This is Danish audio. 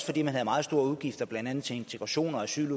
fordi man havde meget store udgifter til blandt andet integration og asyl